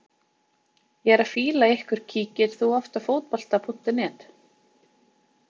Ég er að fýla ykkur Kíkir þú oft á Fótbolti.net?